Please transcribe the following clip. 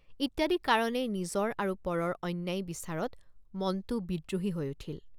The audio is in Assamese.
ইত্যাদি কাৰণে নিজৰ আৰু পৰৰ অন্যায় বিচাৰত মনটে৷ বিদ্ৰোহী হৈ উঠিল।